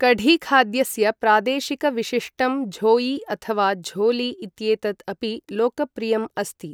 कढी खाद्यस्य प्रादेशिकविशिष्टं झोयी अथवा झोली इत्येतत् अपि लोकप्रियम् अस्ति।